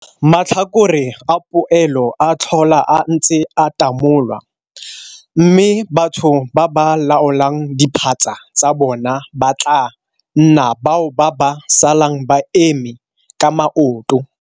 Matlhakore a poelo a tlhola a ntse a tamolwa mme batho ba ba laolang diphatsa tsa bona ba tlaa nna bao ba ba salang ba eme ka maoto.